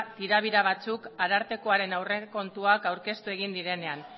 tirabira batzuk arartekoaren aurrekontuak aurkeztu direnean